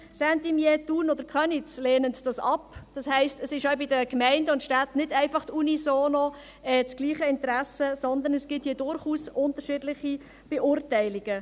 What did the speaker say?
St. Imier, Thun oder Köniz lehnen dies ab, das heisst, dass auch bei den Gemeinden und Städten nicht einfach unisono das gleiche Interesse besteht, sondern es gibt durchaus unterschiedliche Beurteilungen.